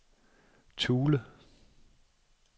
Thule